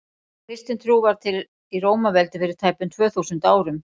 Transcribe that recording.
kristin trú varð til í rómaveldi fyrir tæpum tvö þúsund árum